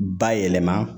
Bayɛlɛma